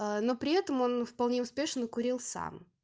но при этом он вполне успешно курил сам